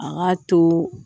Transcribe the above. An ka to